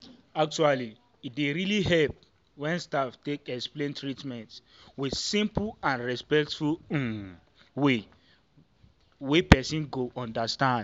actually e dey really help when staff take explain treatment with simple and respectful um way wey person go understand.